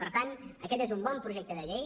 per tant aquest és un bon projecte de llei